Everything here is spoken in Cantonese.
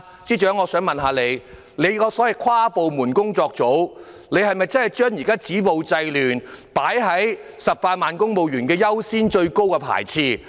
請問司長，跨部門工作組是否把"止暴制亂"作為18萬公務員最優先、最首要的工作？